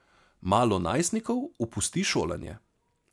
Malo najstnikov opusti šolanje.